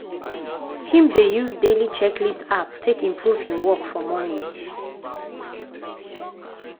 him dey use daily checklist app take improve him work for morning.